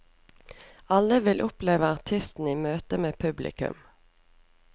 Alle vil oppleve artisten i møte med publikum.